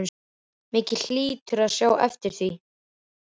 Mikið hlýturðu að sjá eftir því.